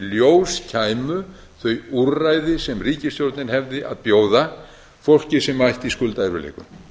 ljós kæmu þau úrræði sem ríkisstjórnin hefði að bjóða fólki sem ætti í skuldaerfiðleikum